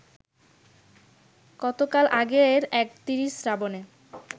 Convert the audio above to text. কতকাল আগের এক ৩০ শ্রাবণে